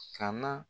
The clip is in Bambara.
Ka na